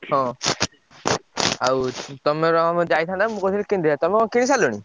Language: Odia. ହଁ ଆଉ ତମର ମୋର ଯାଇଥାନ୍ତେ ମୁଁ କହୁଥିଲି କିଣିଦେଇଥାନ୍ତେ, ତମେ କଣ କିଣି ସାରିଲଣି?